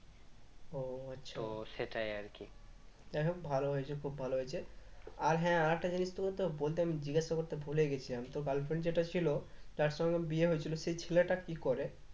ও আচ্ছা তো সেটাই আরকি যাইহোক ভালোই হয়েছে খুব ভালো হয়েছেও আচ্ছা তো সেটাই আরকি যাইহোক ভালোই হয়েছে খুব ভালো হয়েছে আর হ্যাঁ আরেকটা জিনিস তোকে তো বলতে আমি জিজ্ঞাসা করতে ভুলে গেছিলাম তোর girlfriend যেটা ছিল যার সঙ্গে বিয়ে হয়েছিল সে ছেলেটা কি করে?